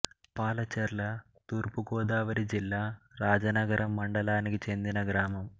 పాలచర్ల తూర్పు గోదావరి జిల్లా రాజానగరం మండలానికి చెందిన గ్రామం